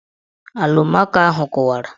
Alụmaco ahụ kụwara